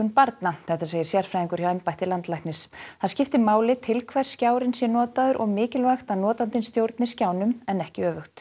barna segir sérfræðingur hjá embætti landlæknis það skipti máli til hvers skjárinn sé notaður og mikilvægt að notandinn stjórni skjánum en ekki öfugt